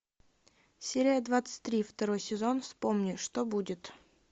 серия двадцать три второй сезон вспомни что будет